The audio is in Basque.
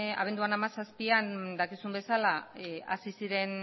abenduaren hamazazpian dakizuen bezala hasi ziren